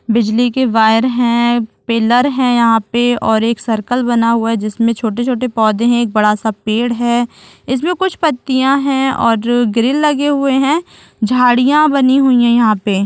बिजली के वायर है पिल्लर है यहाँ पे और एक सर्किल बना हुआ है जिसमे छोटे-छोटे पौधे एक बड़ा-सा पेड़ है इसमें कुछ पत्तीया है और ग्रिल लगे हुए है झाड़ियाँ बनी हुई है यहाँ पे--